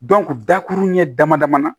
dakuru ɲɛ damadaman na